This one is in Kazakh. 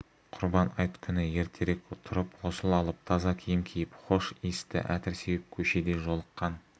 құрбан айт күні ертерек тұрып ғұсыл алып таза киім киіп хош иісті әтір сеуіп көшеде жолыққан